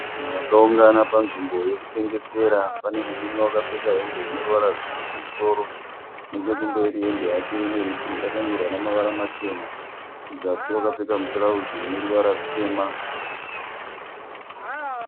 Vanhu vakaungana panzvimbo yeku tengesera. Pane murume wakapfeka hembe ineruvara rutsvuku kumusoro. Nechekumberi hembe yake yakanyorwa namavara machena. Kuzasi wakapfeka mutirauzi une ruvara rutema.